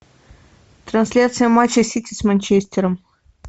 трансляция матча сити с манчестером